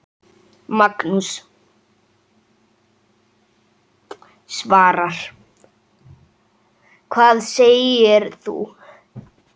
Magnús: Svavar, hvað segir þú?